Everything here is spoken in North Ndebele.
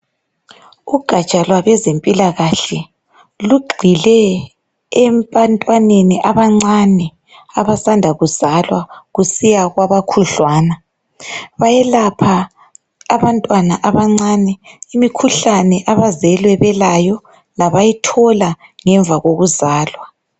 Ugatsha lwabezempilakahle lugxile ebantwaneni abancane abasanda kuzalwa kusiya kwaba khudlwana bayelapha abantwana abancane imikhuhlane abazelwe belayo labayithola ngemva kokuzalwa.